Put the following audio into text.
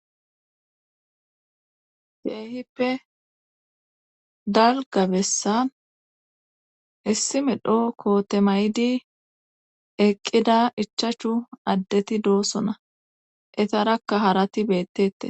Keehippe dalgga bessan issi medho koote mayidi eqqida ichachu addeti doosona etarakka harati beettette.